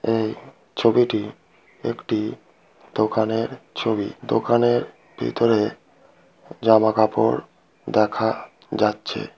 এই ছবিটি একটি দোকানের ছবি দোকানের ভিতরে জামা কাপড় দেখা যাচ্ছে।